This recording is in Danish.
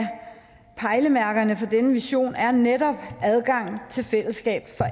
pejlemærkerne for denne vision er netop adgang til fællesskab